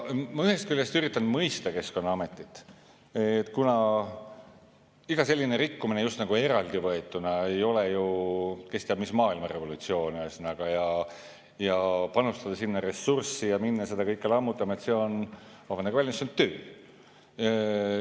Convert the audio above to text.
Ma ühest küljest üritan mõista Keskkonnaametit, kuna iga selline rikkumine just nagu eraldi võetuna ei ole ju kes teab mis maailmarevolutsioon ja panustada sinna ressurssi ja minna seda kõike lammutama – see on, vabandage väljendust, töö.